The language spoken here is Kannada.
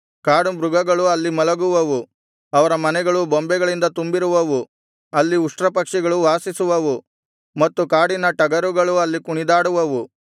ಕಾಡು ಮೃಗಗಳು ಅಲ್ಲಿ ಮಲಗುವವು ಅವರ ಮನೆಗಳು ಗೂಬೆಗಳಿಂದ ತುಂಬಿರುವವು ಅಲ್ಲಿ ಉಷ್ಟ್ರಪಕ್ಷಿಗಳು ವಾಸಿಸುವವು ಮತ್ತು ಕಾಡಿನ ಟಗರುಗಳು ಅಲ್ಲಿ ಕುಣಿದಾಡುವವು